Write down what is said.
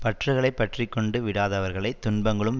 பற்றுகளை பற்றி கொண்டு விடாதவர்களைத் துன்பங்களும்